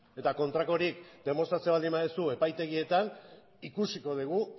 eta kontrakorik demostratzea baldin baduzu epaitegietan ikusiko dugu